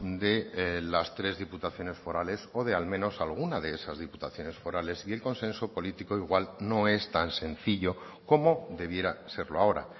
de las tres diputaciones forales o de al menos alguna de esas diputaciones forales y el consenso político igual no es tan sencillo como debiera serlo ahora